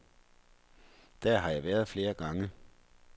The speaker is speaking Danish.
Der har jeg været flere gange.